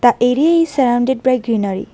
The area is surrounded by greenery.